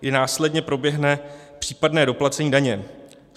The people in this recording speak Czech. I následně proběhne případné doplacení daně.